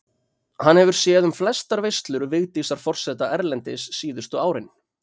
Hann hefur séð um flestar veislur Vigdísar forseta erlendis síðustu árin.